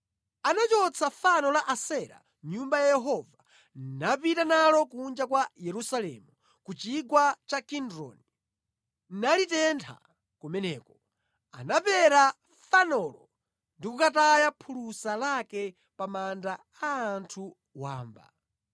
Anachotsa fano la Asera mʼNyumba ya Yehova napita nalo kunja kwa Yerusalemu, ku Chigwa cha Kidroni, nalitentha kumeneko. Anapera fanolo ndi kukataya phulusa lake pa manda a anthu wamba.